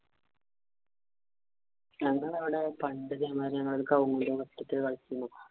ഞങ്ങടവിടെ പണ്ട് ഇതേമാതിരി കളിച്ചിരുന്നു.